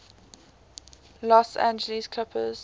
los angeles clippers